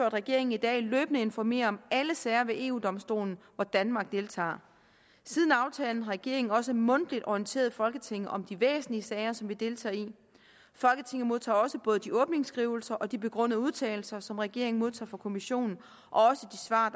at regeringen i dag løbende informerer om alle sager ved eu domstolen hvor danmark deltager siden aftalens regeringen også mundtligt orienteret folketinget om de væsentlige sager som vi deltager i folketinget modtager også både de åbningsskrivelser og de begrundede udtalelser som regeringen modtager fra kommissionen og også de svar